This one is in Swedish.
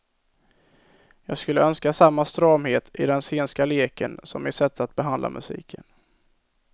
Jag skulle önska samma stramhet i den sceniska leken som i sättet att behandla musiken.